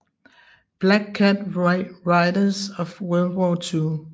Black Cat Raiders of World War II